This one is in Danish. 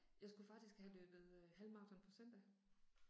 Jeg skulle faktisk have løbet øh halvmaraton på søndag